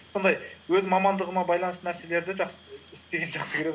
сондай өз мамандығыма байланысты нәрселерді істегенді жақсы көремін